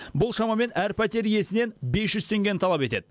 бұл шамамен әр пәтер иесінен бес жүз теңгені талап етеді